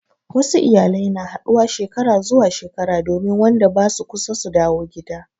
Wasu iyalai na haɗuwa Shekara zuwa shekara domin Wanda basu kusa su dawo gida.